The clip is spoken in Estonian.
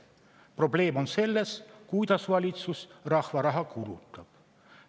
Probleem on selles, kuidas valitsus rahva raha kulutab.